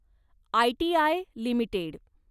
ITI limited